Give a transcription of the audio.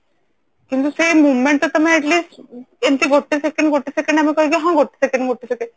କିନ୍ତୁ ସେଇ moment ଟା ତମେ Atleast ଏମିତି ଗୋଟେ second ଗୋଟେ second ଆମେ କହିକି ହଁ ଗୋଟେ second ଗୋଟେ second